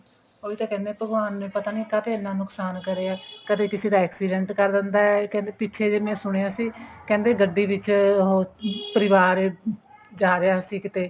ਉਹੀ ਤਾਂ ਕਹਿਨੇ ਹਾਂ ਭਗਵਾਨ ਨੇ ਕਿਉਂ ਇੰਨਾ ਨੁਕਸਾਨ ਕਰਿਆ ਕਦੇ ਕਿਸੇ ਦਾ accident ਕਰ ਦਿੰਦਾ ਪਿੱਛੇ ਜੇ ਮੈਂ ਸੁਣਿਆ ਸੀ ਕਹਿੰਦੇ ਗੱਡੀ ਵਿੱਚ ਪਰਿਵਾਰ ਜਾ ਰਿਹਾ ਸੀ ਕਿਤੇ